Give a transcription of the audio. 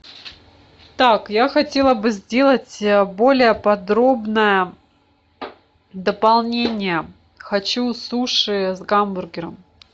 так я хотела бы сделать более подробное дополнение хочу суши с гамбургером